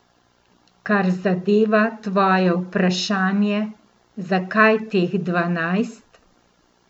Kar zadeva tvoje vprašanje, zakaj teh dvanajst?